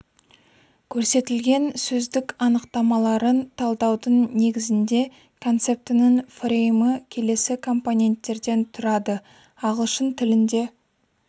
көрсетілген сөздік анықтамаларын талдаудың негізінде концептінің фреймі келесі компоненттерден тұрады ағылшын тілінде